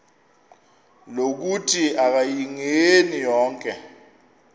lokuthi akayingeni konke